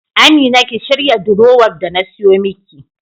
Amina ki shirya durowar da na siyo miki.